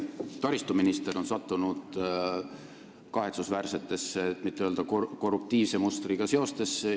Teie taristuminister on sattunud kahetsusväärsetesse, et mitte öelda korruptiivse mustriga seostesse.